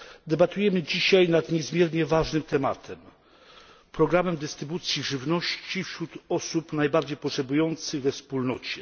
Debatujemy dzisiaj nad niezmiernie ważnym tematem programem dystrybucji żywności wśród osób najbardziej potrzebujących we Wspólnocie.